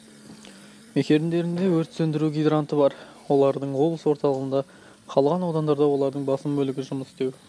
мекендерінде өрт сөндіру гидранты бар олардың облыс орталығында қалған аудандарда олардың басым бөлігі жұмыс істеу